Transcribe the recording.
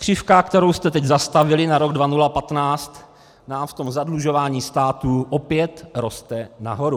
Křivka, kterou jste teď zastavili na rok 2015, nám v tom zadlužování státu opět roste nahoru.